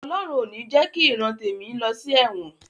Ọlọhun ò ní jẹ ki ìran tèmi lọ sí ẹ̀wọ̀n